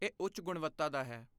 ਇਹ ਉੱਚ ਗੁਣਵੱਤਾ ਦਾ ਹੈ।